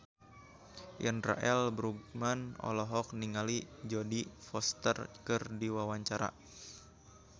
Indra L. Bruggman olohok ningali Jodie Foster keur diwawancara